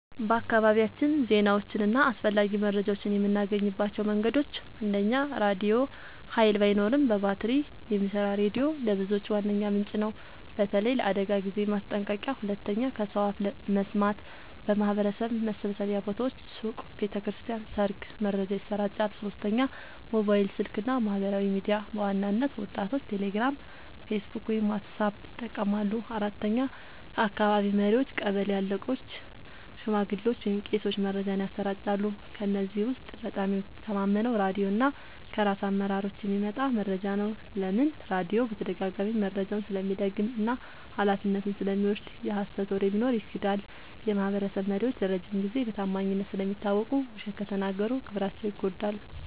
በአካባቢያችን ዜናዎችን እና አስፈላጊ መረጃዎችን የምናገኝባቸው መንገዶች፦ 1. ራድዮ – ኃይል ባይኖርም በባትሪ የሚሰራ ሬዲዮ ለብዙዎች ዋነኛ ምንጭ ነው፣ በተለይ ለአደጋ ጊዜ ማስጠንቀቂያ። 2. ከሰው አፍ መስማት – በማህበረሰብ መሰብሰቢያ ቦታዎች (ሱቅ፣ ቤተ ክርስቲያን፣ ሰርግ) መረጃ ይሰራጫል። 3. ሞባይል ስልክ እና ማህበራዊ ሚዲያ – በዋናነት ወጣቶች ቴሌግራም፣ ፌስቡክ ወይም ዋትስአፕ ይጠቀማሉ። 4. ከአካባቢ መሪዎች – ቀበሌ አለቆች፣ ሽማግሌዎች ወይም ቄሶች መረጃን ያሰራጫሉ። ከእነዚህ ውስጥ በጣም የምተማመነው ራድዮ እና ከራስ አመራሮች የሚመጣ መረጃ ነው። ለምን? · ራድዮ በተደጋጋሚ መረጃውን ስለሚደግም እና ኃላፊነቱን ስለሚወስድ። የሀሰት ወሬ ቢኖር ይክዳል። · የማህበረሰብ መሪዎች ለረጅም ጊዜ በታማኝነት ስለሚታወቁ፣ ውሸት ከተናገሩ ክብራቸው ይጎዳል።